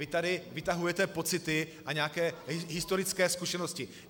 Vy tady vytahujete pocity a nějaké historické zkušenosti.